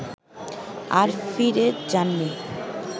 আর ফিরে যাননি